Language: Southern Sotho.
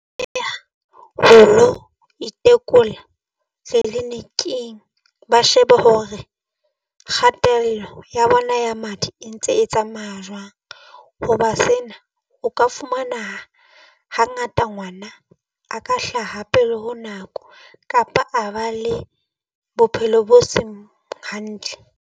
Ho lo itekola tleniking ba shebe hore kgatello ya bona ya madi e ntse e tsamaya jwang. Hoba sena o ka fumana hangata ngwana a ka hlaha pele ho nako kapa a ba le bophelo bo seng hantle.